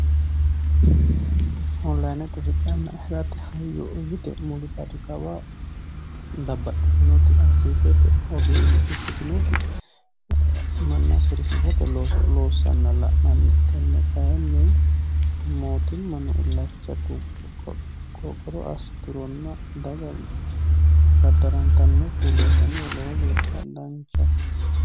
onillayinete hidhanna hiratte hayo o yite mulibadi kawaa babbaxxitinoti ayisitete ogeeyye ikkitinooti manna sorisiisate loossanna la'nanni tenne kayinni mootimmano illacha tugge qooqoro assi turonna daga baddarantannokki loosamiho lowo geeshsha danchahu